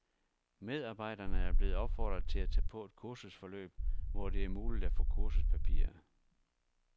Medarbejderne er blevet opfordret til at tage på et kursusforløb, hvor det er muligt at få kursuspapirer.